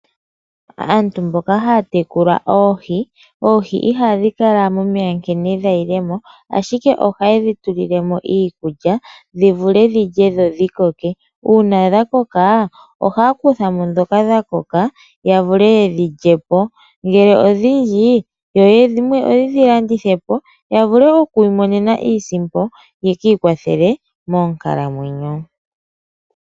Aantu mboka haya tekula oohi, oohi ihadhi kala momeya nkene dha yile mo ashike ohaye dhi tulile mo iikulya, dhi vule dhilye dho dhi koke, uuna dha koka ohaya kutha mo ndhoka dha koka ya vule yedhi lyepo. Ngele odhindji yo dhimwe yedhi landithe po, ya vule oku imonena iisimpo yeki ikwathele moonkalamwenyo.